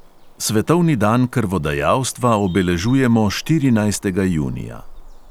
Svetovni dan krvodajalstva obeležujemo štirinajstega junija.